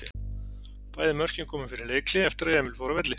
Bæði mörkin komu fyrir leikhlé eftir að Emil fór af velli.